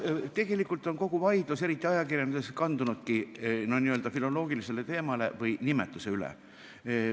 Tegelikult on kogu vaidlus, eriti ajakirjanduses, kandunudki n-ö filoloogilisele teemale või nimetusele.